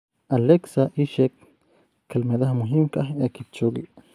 alexa ii sheeg kelmadaha muhiimka ah ee kipchoge